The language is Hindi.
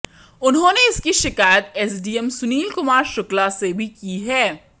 उन्होंने इसकी शिकायत एसडीएम सुनील कुमार शुक्ला से भी की है